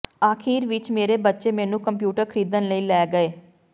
ਅਖੀਰ ਵਿੱਚ ਮੇਰੇ ਬੱਚੇ ਮੈਨੂੰ ਕੰਪਿਊਟਰ ਖਰੀਦਣ ਲਈ ਲੈ ਗਏ